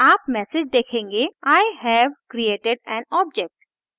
आप मैसेज देखेंगे i have created an object